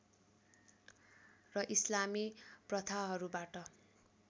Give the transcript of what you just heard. र इस्लामी प्रथाहरूबाट